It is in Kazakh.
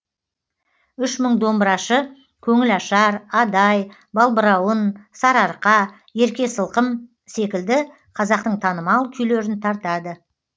үш мың домбырашы көңіл ашар адай балбырауын сарыарқа ерке сылқым секілді қазақтың танымал күйлерін тартады